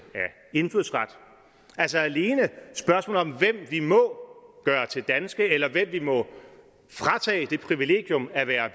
indfødsret altså alene spørgsmålet om hvem vi må gøre til danske eller hvem vi må fratage det privilegium at være